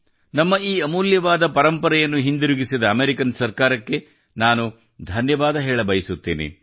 ನಮ್ಮ ಈ ಅಮೂಲ್ಯವಾದ ಪರಂಪರೆಯನ್ನು ಹಿಂದಿರುಗಿಸಿದ ಅಮೆರಿಕನ್ ಸರ್ಕಾರಕ್ಕೆ ನಾನು ಧನ್ಯವಾದ ಹೇಳಬಯಸುತ್ತೇನೆ